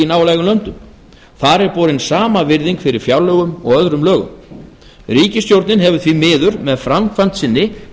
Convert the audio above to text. nálægum löndum þar er borin sama virðing fyrir fjárlögum og öðrum lögum ríkisstjórnin hefur því miður með framkvæmd sinni